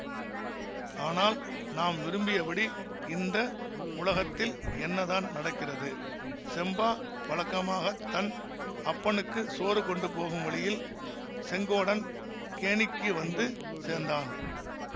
ஆனால் நாம் விரும்பியபடி இந்த உலகத்தில் என்னதான் நடக்கிறது செம்பா வழக்கமாக தன் அப்பனுக்கு சோறு கொண்டு போகும் வழியில் செங்கோடன் கேணிக்கு வந்து சேர்ந்தான்